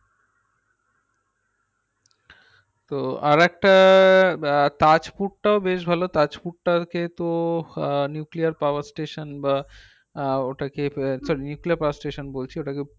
তো আরেকটা আহ তাজপুর টাও বেশ ভালো তাজপুরটা হচ্ছে তো আহ nuclear power station বা আহ ওটাকে ফে ফের replay power station বলছি ওটাকে